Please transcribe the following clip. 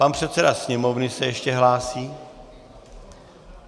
Pan předseda Sněmovny se ještě hlásí.